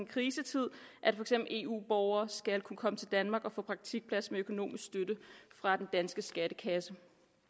krisetid at for eksempel eu borgere skal kunne komme til danmark og få praktikplads med økonomisk støtte fra den danske skattekasse